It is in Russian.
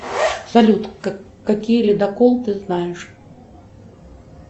салют какие ледоколы ты знаешь